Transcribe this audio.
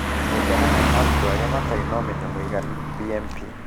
Mũigana wa arutwo arĩa matarĩ na ũmenyo mũiganu (BMP)